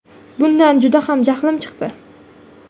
Bundan juda ham jahlim chiqdi.